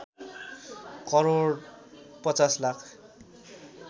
crore ५० lakh